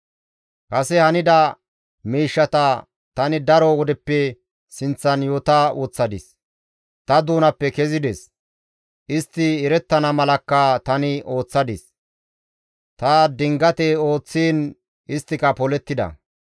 «Kase hanida miishshata tani daro wodeppe sinththan yoota woththadis; ta doonappe kezides. Istti erettana malakka tani ooththadis; ta dingate ooththiin isttika polettida.